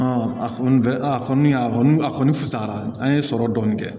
a kɔni a kɔni a kɔni a kɔni fusayara an ye sɔrɔ dɔɔni kɛ